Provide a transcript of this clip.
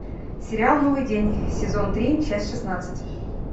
сериал новый день сезон три часть шестнадцать